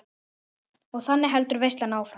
Og þannig heldur veislan áfram.